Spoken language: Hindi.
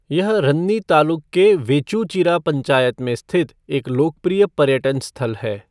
यह रन्नी तालुक के वेचूचिरा पंचायत में स्थित एक लोकप्रिय पर्यटन स्थल है।